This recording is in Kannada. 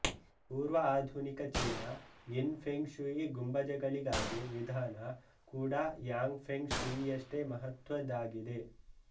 ಪೂರ್ವ ಆಧುನಿಕ ಚೀನಾಯಿನ್ ಫೆಂಗ್ ಶೂಯಿ ಗುಂಬಜಗಳಿಗಾಗಿವಿಧಾನ ಕೂಡಾ ಯಾಂಗ್ ಫೆಂಗ್ ಶೂಯಿಯಷ್ಟೆ ಮಹತ್ವದಾಗಿದೆ